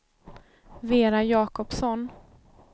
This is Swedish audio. Vera Jacobsson